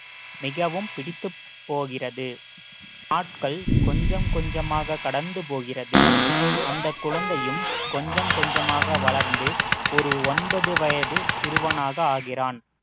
மிகவும் பிடித்துப் போகிறது நாட்கள் கொஞ்சம் கொஞ்சமாக கடந்து போகிறது அந்தக் குழந்தையும் கொஞ்சம் கொஞ்சமாக வளர்ந்து ஒரு ஒன்பது வயது சிறுவனாக ஆகிறான்